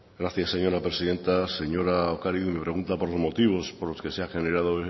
gracias señora presidenta señora ocariz nos pregunta por dos motivos por los que se ha generado